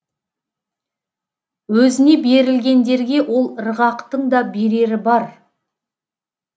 өзіне берілгендерге ол ырғақтың да берері бар